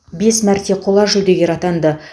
бес мәрте қола жүлдегер атанды